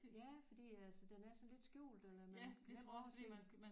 Ja fordi altså den er sådan lidt skjult eller man kan nemt overse